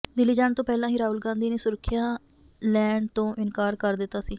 ਦਿੱਲੀ ਜਾਣ ਤੋਂ ਪਹਿਲਾਂ ਹੀ ਰਾਹੁਲ ਗਾਂਧੀ ਨੇ ਸੁਰੱਖਿਆ ਲੈਣ ਤੋਂ ਇਨਕਾਰ ਕਰ ਦਿੱਤਾ ਸੀ